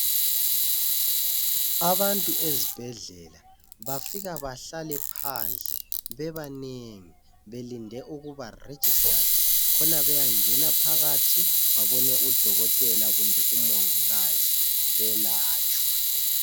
Abantu ezibhedlela bafika bahlale phandle bebanengi belinde ukuba registered khona beyangena phakathi babone udokotela kumbe umongikazi belatshwe.